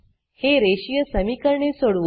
ही रेषीय समीकरणे सोडवू